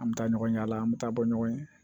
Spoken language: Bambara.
An bɛ taa ɲɔgɔn yala an bɛ taa bɔ ɲɔgɔn ye